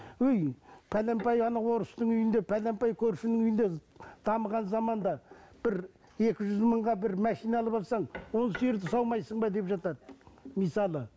ой пәленбай ана орыстың үйінде бәленбай көршінің үйінде дамыған заманда бір екі жүз мыңға бір машина алып алсаң он сиырды саумайсың ба деп жатады мысалы